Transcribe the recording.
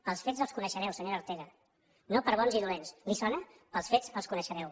pels fets els coneixereu senyora ortega no per bons i dolents li sona pels fets els coneixereu